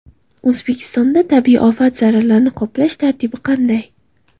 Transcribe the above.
O‘zbekistonda tabiiy ofat zararlarini qoplash tartibi qanday?.